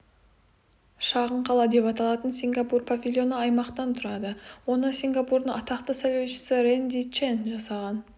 шағын қала деп аталатын сингапур павильоны аймақтан тұрады оны сингапурдың атақты сәулетшісі рэнди чэн жасаған